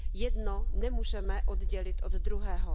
Jedno nemůžeme oddělit od druhého.